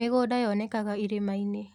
Mĩgũnda yonekaga irĩmainĩ.